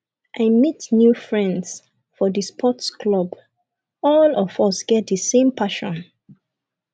i meet new friends for di sports club all of us get di same passion